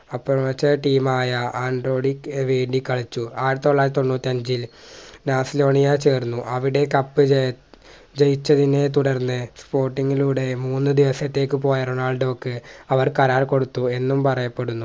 അപ്പുറത്തെ Team ആയ ആൻഡ്രോയ്ഡ് വേണ്ടി കളിച്ചു ആയിരത്തിതൊള്ളായിരത്തി തൊണ്ണൂറ്റിയഞ്ചിൽ ബാർസിലോണിയ ചേർന്നു അവിടെ cup ജയി ജയിച്ചതിനെ തുടർന്ന് sporting ലൂടെ മൂന്നുദിവസത്തേക്ക് പോയ റൊണാൾഡോക്ക് അവർ കരാർ കൊടുത്തു എന്നും പറയപ്പെടുന്നു